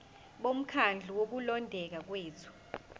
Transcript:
bomkhandlu wokulondeka kwethu